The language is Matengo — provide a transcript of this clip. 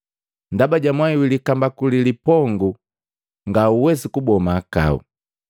Ndaba ja mwai wi likambaku ni lipongu ngauwesi kuboa mahakau.